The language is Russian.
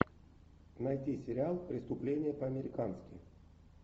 найти сериал преступление по американски